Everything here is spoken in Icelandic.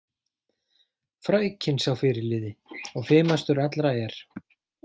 Frækinn sá fyrirliði og fimastur allra er.